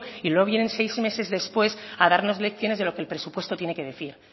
y no vienen seis meses después a darnos lecciones de lo que el presupuesto tiene que decir